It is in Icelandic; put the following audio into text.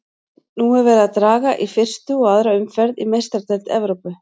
Nú er verið að draga í fyrstu og aðra umferð í Meistaradeild Evrópu.